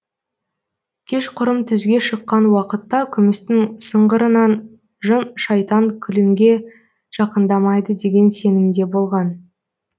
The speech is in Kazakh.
кешқұрым түзге шыққан уақытта күмістің сыңғырынан жын шайтан келінге жақындамайды деген сенімде болған